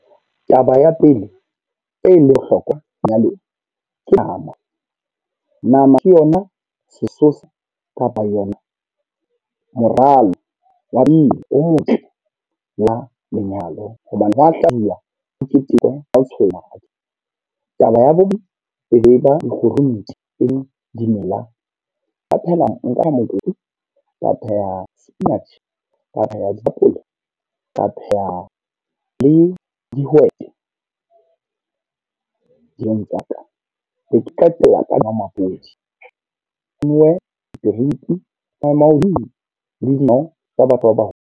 Taba ya pele, e le hlokwa ke nama. Nama ke yona sesosa kapa yona moralo wa o motle la lenyalo. Hobane ho hlabilwa ho ketekwe ha ho tshwane. Taba ya bobe e be ba dikgurunti le dimela. Ka phehela, nka pheha mokopu, ka pheha spinach, ka pheha di , ka pheha le dihwete. tsa ka di ke tla tswela ka senomaphodi tsa batho ba .